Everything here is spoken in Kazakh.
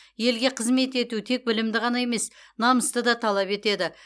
елге қызмет ету тек білімді ғана емес намысты да талап етеді